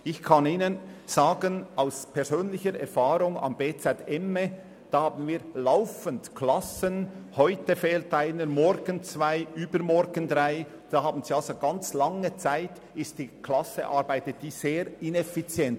Ich kann Ihnen aus persönlicher Erfahrung am Bildungszentrum Emme (bz emme) sagen: Wir haben laufend Klassen, da fehlt heute einer, morgen fehlen zwei, übermorgen drei – während einer ganz langen Zeit arbeitet also die Klasse sehr ineffizient.